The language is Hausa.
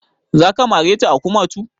Za ka mare ta a kumatu?